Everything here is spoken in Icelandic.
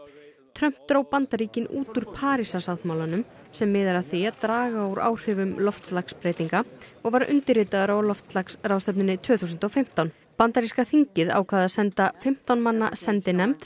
Trump dró Bandaríkin út úr Parísarsáttmálanum sem miðar að því að draga úr áhrifum loftslagsbreytinga og var undirritaður á loftslagsráðstefnunni tvö þúsund og fimmtán bandaríska þingið ákvað að senda fimmtán manna sendinefnd